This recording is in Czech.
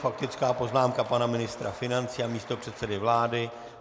Faktická poznámka pana ministra financí a místopředsedy vlády.